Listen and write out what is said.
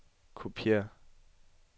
kopiér